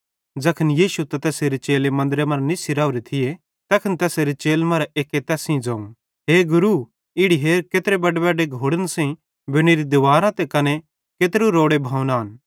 ज़ैखन यीशु त तैसेरे चेले मन्दरे मरां निस्सी राओरे थिये तैखन तैसेरे चेलन मरां एक्के तैस सेइं ज़ोवं हे गुरू इड़ी हेर केत्रे बड्डेबड्डे घोड़न सेइं बनोरी दिवारां कने केत्रू रोड़े भवन आए